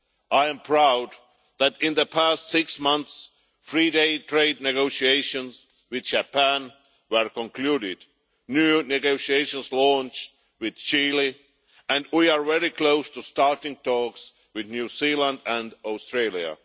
I am proud that, in the past six months, free trade negotiations with Japan have been concluded, new negotiations have been launched with Chile, and we are very close to starting talks with New Zealand and Australia.